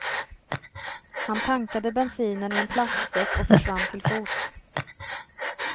Han tankade bensinen i en plastsäck och försvann till fots.